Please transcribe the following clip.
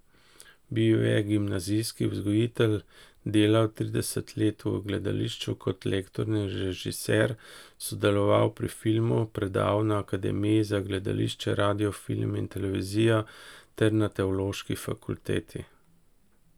Bil je gimnazijski vzgojitelj, delal trideset let v gledališču kot lektor in režiser, sodeloval pri filmu, predaval na Akademiji za gledališče, radio film in televizijo ter na Teološki fakulteti.